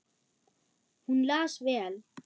Hún las vel.